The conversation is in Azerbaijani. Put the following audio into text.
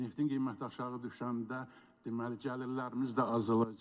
neftin qiyməti aşağı düşəndə, deməli gəlirlərimiz də azalacaq.